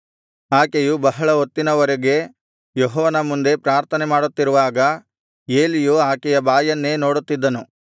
ಆಕೆಯು ಬಹಳ ಹೊತ್ತಿನ ವರೆಗೆ ಯೆಹೋವನ ಮುಂದೆ ಪ್ರಾರ್ಥನೆಮಾಡುತ್ತಿರುವಾಗ ಏಲಿಯು ಆಕೆಯ ಬಾಯನ್ನೇ ನೋಡುತ್ತಿದ್ದನು